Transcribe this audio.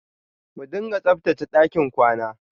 Mu dinga tsabtache ɗakin kwana.